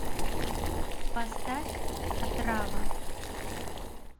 поставь отрава